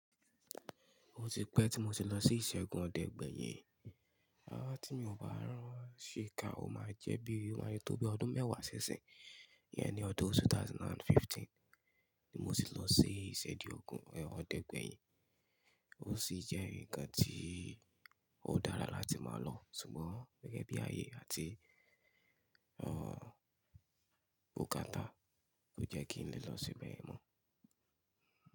Ó ti pẹ́ tí mo ti lọ sí ìṣẹ́di ọdẹ gbẹyin, à tí mi ò bá rán ṣii ká ó máa jẹ́ bí, tóbi ọdún mẹ́wàá si isìn, yẹn ni ọdún 2015 tí mo ti lọ sí ìṣẹ́di ọdẹ gbẹyin. Ó sì jẹ́ ǹkan tí ó dára láti máa lọ, ṣùgbọ́n gẹ́gẹ́ bí ayé àti bukàtá, kò jẹ́ kí n lè lọ síbẹ̀ mọ́.